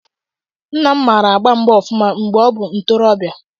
Nna m mara agba mgba ọfụma mgbe ọ bụ ntorobịa.